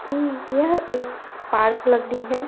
कि यह एक पार्क लग रही है।